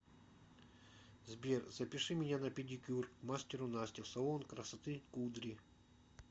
сбер запиши меня на педикюр к мастеру насте в салон красоты кудри